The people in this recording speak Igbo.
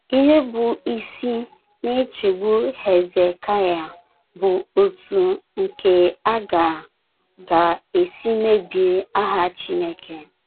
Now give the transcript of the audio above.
Ihe bụ́ isi na - echegbu Hezekaya bụ otú nke a ga - ga - esi mebie aha Chineke.